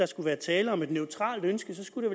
skulle være tale om et neutralt ønske skulle